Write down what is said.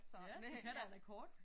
Ja du kan da en akkord